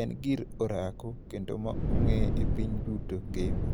En gir orako, kendo ma ongé e piny duto ngima.